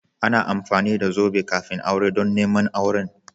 Ana amfani da zobe kafin aure don neman auren.